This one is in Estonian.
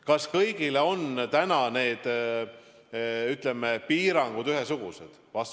Kas kõigi jaoks on täna need piirangud ühesugused?